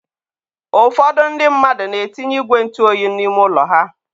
ụfọdụ ndị mmadụ na-etinye igwe ntụ oyi n'ime ụlọ ha.